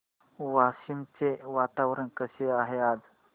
वाशिम चे वातावरण कसे आहे आज